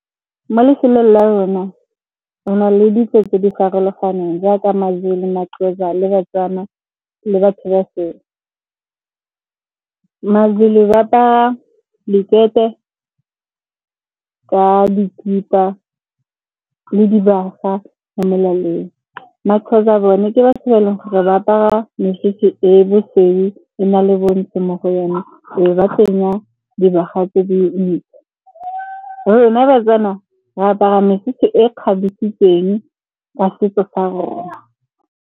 Mo lefelong la rona re na le ditso tse di farologaneng jaaka Mazulu, Maxhosa le ba-Tswana le batho ba sele. Mazulu ba apara dikete ka dikipa le dibaga mo melaleng. Maxhosa bone ke batho ba e leng gore ba apara mesese e bosweu e na le bontsho mo go yone, e be ba tsenya dibaga tse di ntle. Rona ba-Tswana re apara mesese e kgabesitsweng ka setso sa rona.